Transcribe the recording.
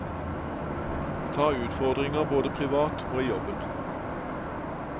Ta utfordringer både privat og i jobben.